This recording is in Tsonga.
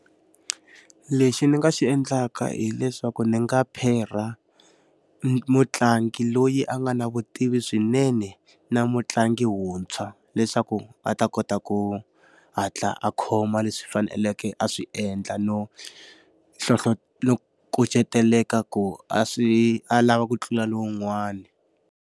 Lexi ndzi nga xi endlaka hileswaku ni nga pherha mutlangi loyi a nga na vutivi swinene na mutlangi wuntshwa, leswaku a ta kota ku hatla a khoma leswi faneleke a swi endla no no kuceteleka ku a swi a lava ku tlula lowun'wani.